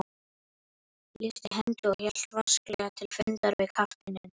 lyfti hendi og hélt vasklega til fundar við kafteininn.